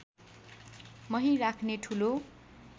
मही राख्ने ठुलो